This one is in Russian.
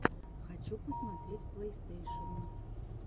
хочу посмотреть плейстейшен